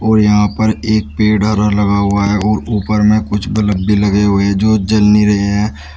और यहां पर एक पेड़ हरा लगा हुआ है और ऊपर में कुछ बल्ब भी लगे हुए जो जल नही रहे हैं।